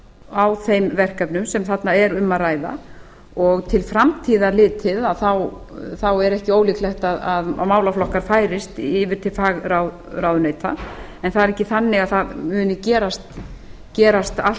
á þeim verkefnum sem þarna er um að ræða og til framtíðar litið er ekki ólíklegt að málaflokkar færist yfir til fagráðuneyta en það er ekki þannig að það muni gerast allt